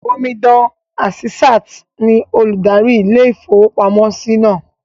Omidan Àsísàt ní olùdarí ilé-ìfowópamọ́sí náà